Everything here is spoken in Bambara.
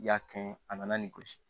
I y'a kɛ a nana ni gosi